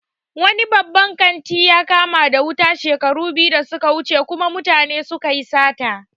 Wani babban kanti ya kama da wuta shekaru biyu da suka wuce kuma mutane sunyi sata